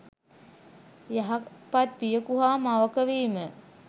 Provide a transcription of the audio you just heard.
යහපත් පියකු හා මවක වීම